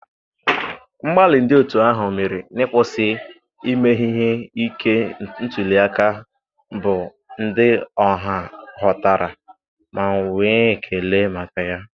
Mgbalị ndị otu ahụ mere n'ịkwụsị ime ihe ike ntuli aka bụ ndị ọha ghọtara ma nwee ekele maka ya.